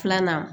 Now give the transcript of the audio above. Filanan